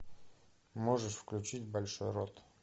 можешь включить большой рот